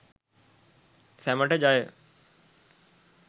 සැමට ජය!